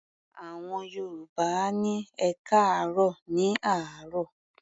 Àwọn Yorùbá á ní "ẹkáàárọ̀" ní àárọ̀.